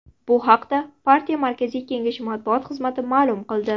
Bu haqda partiya markaziy kengashi matbuot xizmati ma’lum qildi.